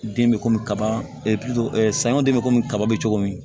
Den bɛ komi kaba sanɲɔ den bɛ komi kaba bɛ cogo min